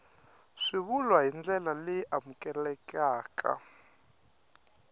swivulwa hi ndlela leyi amukelekaka